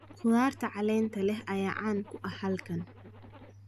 Khudaarta caleenta leh ayaa caan ku ah halkan.